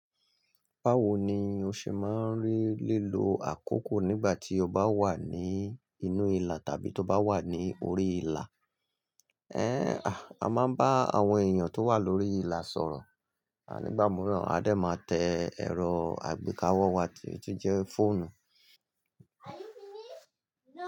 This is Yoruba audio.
Báwo ni o ṣe máa ń rí lílo àkókò nígbà tí o bá wà ní inú ìlà tàbí tó bá wà ní orí ìlà? Ẹ́, a máa ń bá àwọn èèyàn tó wà lórí ìlà sọ̀rọ̀, à nígbà mìíràn a dẹ máa tẹ ẹ̀rọ àgbékawọ́ wa tí ó jẹ́ fóònù.